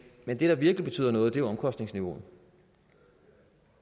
men det der virkelig betyder noget er omkostningsniveauet